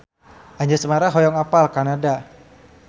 Anjasmara hoyong apal Kanada